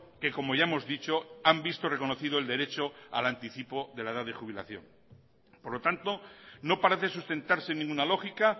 que como ya hemos dicho han visto reconocido el derecho al anticipo de la edad de jubilación por lo tanto no parece sustentarse en ninguna lógica